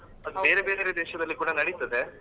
ಅದು ಬೇರೆ ಬೇರೆ ದೇಶದಲ್ಲಿ ಕೂಡ ನಡೀತದೆ